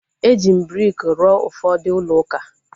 Eji briki rụọ ụfọdụ ulouka